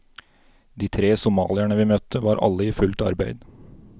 De tre somalierne vi møtte var alle i fullt arbeid.